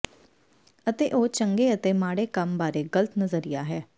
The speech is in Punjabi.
ਅਤੇ ਉਹ ਚੰਗੇ ਅਤੇ ਮਾੜੇ ਕੰਮ ਬਾਰੇ ਗ਼ਲਤ ਨਜ਼ਰੀਆ ਹੈ